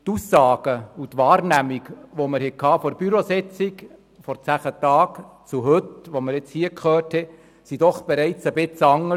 Doch an der Bürositzung, die vor zehn Tagen, stattgefunden hat, sah es schon ein wenig anders aus als heute.